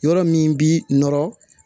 Yɔrɔ min bi nɔrɔ